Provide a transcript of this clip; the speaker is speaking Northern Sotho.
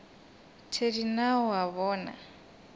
thedi na o a bona